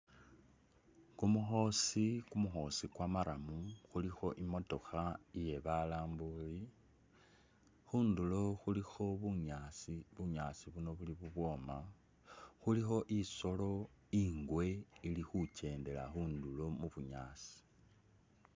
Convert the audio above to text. Kumukhosi, kumukhosi kwa maram khulikho imotokha iye balambuli, khundulo khulikho bunyaasi bunyaasi buno buli bubwoma, khulikho isolo ingwe ili khukyendela khundulo mu bunyaasi.